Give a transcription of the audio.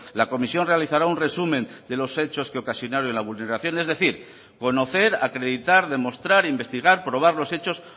la comisión realizará un resumen de los hechos que ocasionaron la vulneración es decir conocer acreditar demostrar investigar probar los hechos